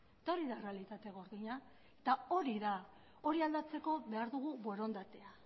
eta hori da errealitate gordina eta hori da hori aldatzeko behar dugu borondatea